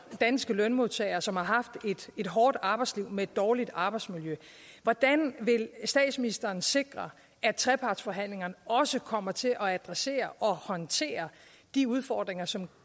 danske lønmodtager som har haft et hårdt arbejdsliv med et dårligt arbejdsmiljø hvordan vil statsministeren sikre at trepartsforhandlingerne også kommer til at adressere og håndtere de udfordringer som